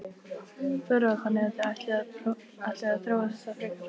Þóra: Þannig að þið ætlið að þróa þetta frekar?